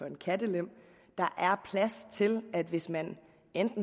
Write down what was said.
en kattelem der er plads til at man hvis man